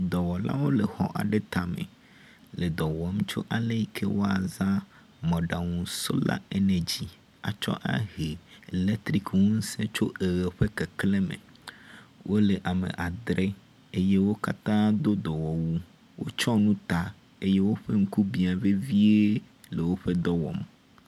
Dɔwɔlawo le xɔ aɖe tame le dɔ wɔm tso ale yi ke woaza mɔɖaŋu sola enegi atsɔ ahe eletriki ŋuse tso eʋe ƒe kekle me. Wo le ame adre eye wo katã do dɔwɔwu wotsɔ nu ta eye woƒe ŋku bia vevie le woƒe dɔ wɔm.